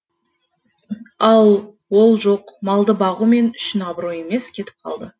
ал ол жоқ малды бағу мен үшін абырой емес кетіп қалды